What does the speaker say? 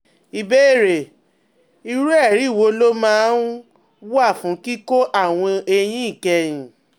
Ìbéèrè: Irú ẹ̀rí wo ló máa um ń wà fún kíkọ́ àwọn eyín ìkẹyìn?